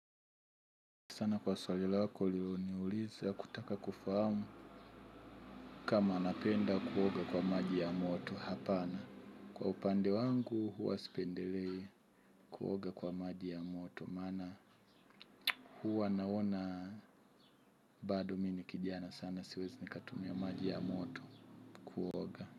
Sana kwa swali lako uliloniuliza kutaka kufahamu kama napenda kuoga kwa maji ya moto hapana. Kwa upande wangu huwa spendelei kuoga kwa maji ya moto. Maana huwa naona bado mi ni kijana sana siwezi nikatumia maji ya moto kuoga.